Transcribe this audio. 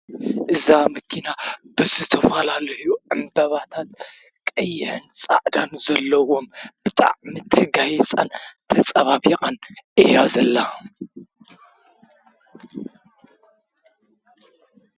እዛ ምኪና ብዝቶፍላልሕዩ እምበባታት ቀይሀን ጻዕዳን ዘለዎም ብጣዕ ምት ሕጋይጸን ተጸባቢቓን እያዘለሃ።